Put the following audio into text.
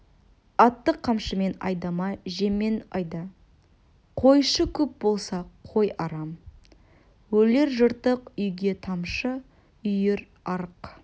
атты қамшымен айдама жеммен айда қойшы көп болса қой арам өлер жыртық үйге тамшы үйір арық